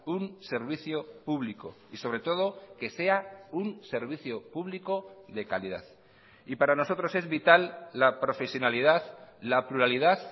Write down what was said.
un servicio público y sobre todo que sea un servicio público de calidad y para nosotros es vital la profesionalidad la pluralidad